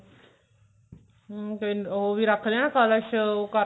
hm ਫ਼ੇਰ ਉਹ ਵੀ ਰੱਖਦੇ ਨੇ ਕਲਸ਼